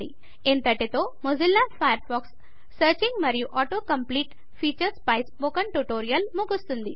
ఇంతటితో Mozilla Firefox searching మరియు auto complete features పై ట్యుటోరియల్ ముగుస్తుంది